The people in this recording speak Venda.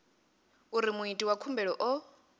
uri muiti wa khumbelo o